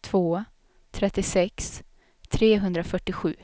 två trettiosex trehundrafyrtiosju